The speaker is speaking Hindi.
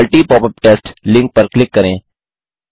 multi पॉपअप टेस्ट लिंक पर क्लिक करें